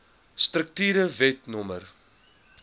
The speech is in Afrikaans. strukture wet no